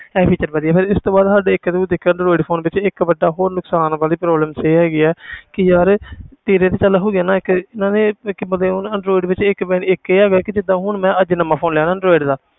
ਇਹ feature ਵਧੀਆ ਫਿਰ ਇਸ ਤੋਂ ਬਾਅਦ ਸਾਡੇ ਇੱਕ ਇਹ ਵੀ ਦੇਖਿਆ android phone ਵਿੱਚ ਇੱਕ ਵੱਡਾ ਹੋਰ ਨੁਕਸਾਨ ਵਾਲੀ problem ਇਹ ਹੈਗੀ ਹੈ ਕਿ ਯਾਰ ਤੇਰੇ ਤਾਂ ਚੱਲ ਹੋ ਗਿਆ ਨਾ ਇੱਕ ਇਹਨਾਂ ਨੇ ਇੱਕ ਮਤਲਬ ਉਹ ਨਾ android ਵਿੱਚ ਇੱਕ ਮਤਲਬ ਇੱਕ ਇਹ ਹੈਗਾ ਕਿ ਜਿੱਦਾਂ ਹੁਣ ਮੈਂ ਅੱਜ ਨਵਾਂ phone ਲਿਆ ਨਾ android ਦਾ